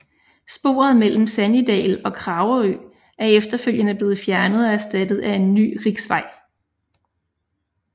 Sporet mellem Sannidal og Kragerø er efterfølgende blevet fjernet og erstattet af en ny riksvei